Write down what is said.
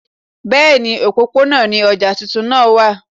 Bẹ́ẹ̀ni, òpópónà ni ọjà tuntun náà wà